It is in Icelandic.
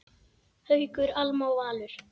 Haukur, Alma og Valur.